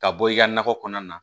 Ka bɔ i ka nakɔ kɔnɔna na